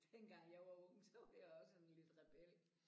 Dengang jeg var ung så var jeg også sådan lidt rebel